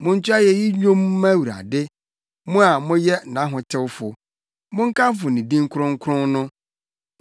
Monto ayeyi nnwom mma Awurade; mo a moyɛ nʼahotewfo! Monkamfo ne din kronkron no.